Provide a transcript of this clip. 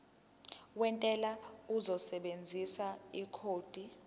wentela uzosebenzisa ikhodi